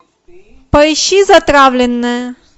поищи затравленная